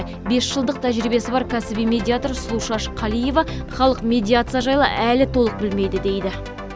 бес жылдық тәжірибесі бар кәсіби медиатор сұлушаш қалиева халық медиация жайлы әлі толық білмейді дейді